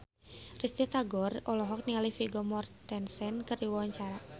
Risty Tagor olohok ningali Vigo Mortensen keur diwawancara